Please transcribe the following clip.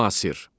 Müasir.